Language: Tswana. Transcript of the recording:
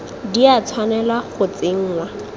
di a tshwanela go tsenngwa